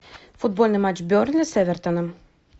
футбольный матч бернли с эвертоном